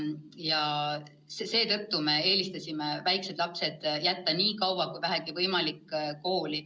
Ja seetõttu me eelistasime väikesed lapsed jätta nii kaua, kui vähegi võimalik kooli.